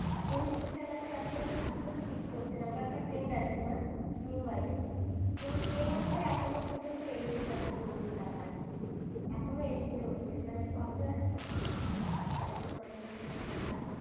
ওই দুটো জায়গাতে এখনো পর্যন্ত শীত পড়ছে না। আমার একটা friend আছে তোমার মুম্বাইতে। তো সে বলছে এখনো পর্যন্ত ac চলছে তার বাড়িতে। এখনো ac চলছে, মানে ভাবতে পারছ তার কি condition সেখানকার।